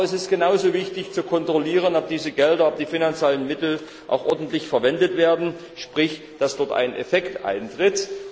Aber es ist genauso wichtig, zu kontrollieren, ob diese Gelder, die finanziellen Mittel, auch ordentlich verwendet werden, sprich, ob dort ein Effekt eintritt.